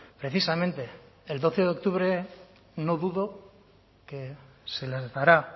precisamente el doce de octubre no dudo que se les dará